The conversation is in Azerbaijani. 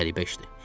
Qəribə işdi.